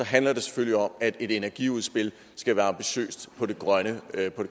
handler det selvfølgelig om at et energiudspil skal være ambitiøst på den grønne